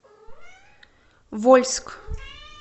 вольск